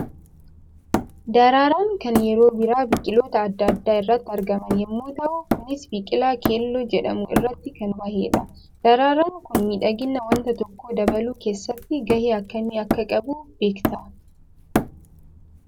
Daraaraan kan yeroo Birraa biqiloota addaa addaa irratti argaman yammuu tahu; kunis biqilaa keelloo jedhamu irratti kan bahee dha. Daraaraan ku miidhagina wanta tokkoo dabaluu keessatti gahee akkamii akka qabu beektaa?